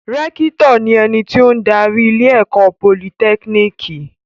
Rẹ́kítọ̀ ni ẹni tó ń darí ilé-ẹ̀kọ́ Politẹ́kínìkì.